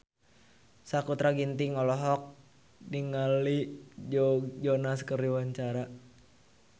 Sakutra Ginting olohok ningali Joe Jonas keur diwawancara